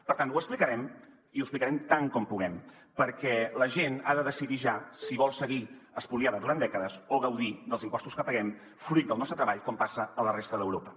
per tant ho explicarem i ho explicarem tant com puguem perquè la gent ha de decidir ja si vol seguir espoliada durant dècades o gaudir dels impostos que paguem fruit del nostre treball com passa a la resta d’europa